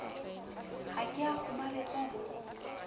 ha ke a kgomaretswa ho